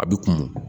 A bi kun